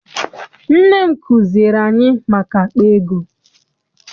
Nne m kuziere anyị maka akpa ego.